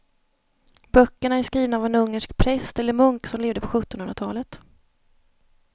Böckerna är skrivna av en ungersk präst eller munk som levde på sjuttonhundratalet.